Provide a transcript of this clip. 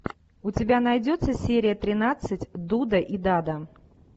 у тебя найдется серия тринадцать дуда и дада